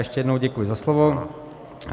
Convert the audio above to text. Ještě jednou děkuji za slovo.